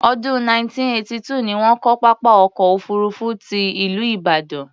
Ọdún 1982 ni wọ́n kọ́ pápá ọkọ̀ òfuurufú ti ìlú Ìbàdàn.